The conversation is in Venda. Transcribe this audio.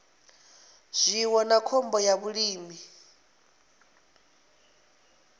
zwiwo na khombo ya vhulimi